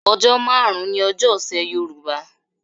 Ọjọ́ márùn-ún ni ọjọ́ ọ̀sẹ̀ Yorùbá.